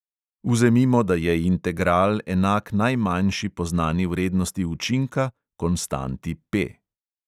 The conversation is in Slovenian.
Vzemimo, da je integral enak najmanjši poznani vrednosti učinka, konstanti P.